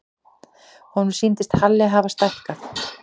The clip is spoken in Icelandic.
Honum sýndist Halli hafa stækkað.